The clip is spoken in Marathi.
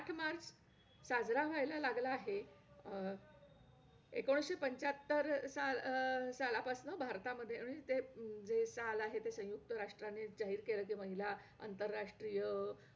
तिथून हम्म कसं म्हणजे राहायचं , वागायचं आपल्याला खूप हम्म ज्ञान भेटतं .परत आम्हाला